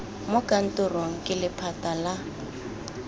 mo kantorong ke lephata la